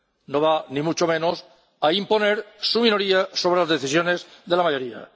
No va, ni mucho menos a imponer su minoría sobre las decisiones de la mayoría.